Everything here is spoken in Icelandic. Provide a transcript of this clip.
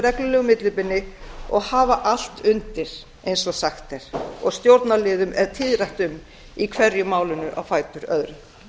reglulegu millibili og hafa allt undir eins og sagt er og stjórnarliðum er tíðrætt um í hverju málinu á fætur öðru